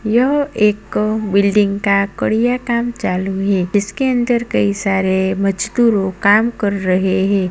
यह एक बिल्डिंग का कड़िया काम चालू है इसके अंदर कई सारे मजदूरों काम कोर रहे है।